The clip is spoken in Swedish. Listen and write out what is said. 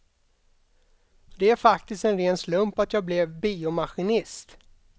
Det är faktiskt en ren slump att jag blev biomaskinist.